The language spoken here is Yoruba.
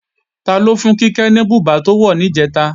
Taló fún Kíkẹ́ ní bùbá tó wọ̀ níjẹ̀ta